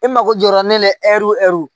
E mako jɔra ne la ɛriw ɛriw